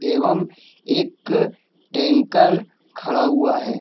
एवं एक टेंकर खड़ा हुआ है।